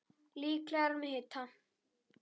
Líklega er hann með hita.